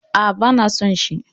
Aa, bana son shi